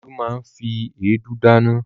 Olú máa ń fi èédú dáná.